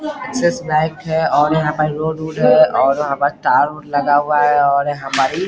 axis Bank है और यहाँ पर रोड -उड हैं यहाँ पे तार-उर लगा हुआ है और हमारी --